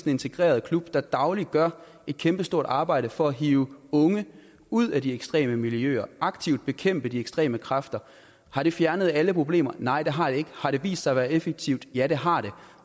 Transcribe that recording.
integreret klub der dagligt gør et kæmpestort arbejde for at hive unge ud af de ekstreme miljøer og aktivt bekæmpe de ekstreme kræfter har det fjernet alle problemer nej det har det ikke har det vist sig at være effektivt ja det har det